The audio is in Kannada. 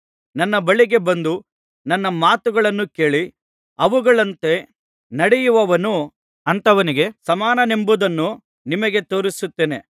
ನನ್ನ ಬಳಿಗೆ ಬಂದು ನನ್ನ ಮಾತುಗಳನ್ನು ಕೇಳಿ ಅವುಗಳಂತೆ ನಡೆಯುವವನು ಅಂಥವನಿಗೆ ಸಮಾನನೆಂಬುದನ್ನು ನಿಮಗೆ ತೋರಿಸುತ್ತೇನೆ